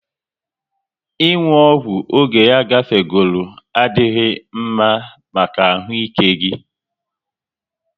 Ị nwu ọgwụ oge ya gafegoro adịghị mma maka ahụ ike gị